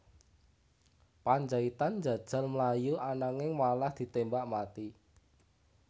Pandjaitan njajal mlayu ananging malah ditémbak mati